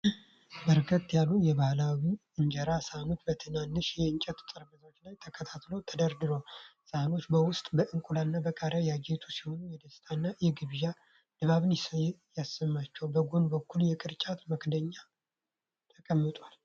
በርከት ያሉ የባህላዊ እንጀራ ሳህኖች በትንንሽ የእንጨት ጠረጴዛዎች ላይ በተከታታይ ተደርድረዋል። ሳህኖቹ በወጥ፣ በእንቁላል እና በቃሪያ ያጌጡ ሲሆን፣ የደስታ እና የግብዣ ድባብ ይሰማቸዋል። በጎን በኩልም የቅርጫት መክደኛዎች ተቀምጠዋል።